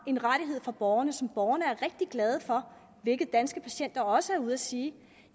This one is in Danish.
en rettighed for borgerne som borgerne er rigtig glade for hvilket danske patienter også er ude og sige